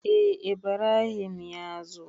Eh Ibrahim ya zo.